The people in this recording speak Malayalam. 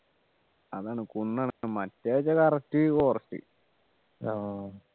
അതാണ് കുന്നാണ് മറ്റേ correct forest ആഹ്